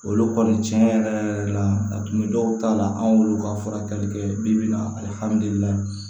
Olu kɔni tiɲɛ yɛrɛ yɛrɛ la a tun bɛ dɔw ta la anw yɛrɛ ka furakɛli kɛ bi bi in na alihamudulila